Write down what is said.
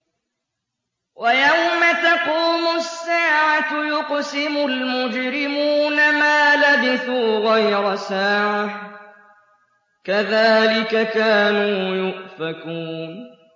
وَيَوْمَ تَقُومُ السَّاعَةُ يُقْسِمُ الْمُجْرِمُونَ مَا لَبِثُوا غَيْرَ سَاعَةٍ ۚ كَذَٰلِكَ كَانُوا يُؤْفَكُونَ